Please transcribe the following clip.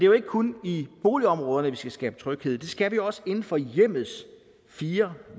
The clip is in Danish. jo ikke kun i boligområderne vi skal skabe tryghed det skal vi også inden for hjemmets fire